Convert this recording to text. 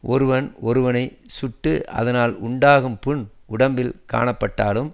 ஒருவன் ஒருவனை சுட்டு அதனால் உண்டான புண் உடம்பில் காணப்பட்டாலும்